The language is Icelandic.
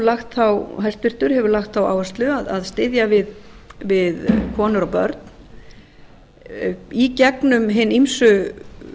lagt á það áherslu að styðja við konur og börn í gegnum hin ýmsu